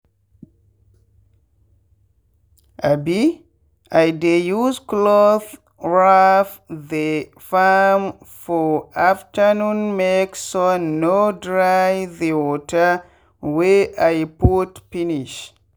um i dey use clothe wrap the farm for afternoonmake sun no dry the water wey i put finish.